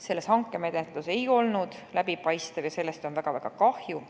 See hankemenetlus ei olnud läbipaistev ja sellest on väga-väga kahju.